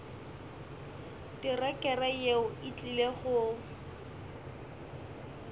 terekere yeo e tlile go